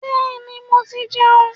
Bẹ́ẹ̀ni, mo ti jẹun.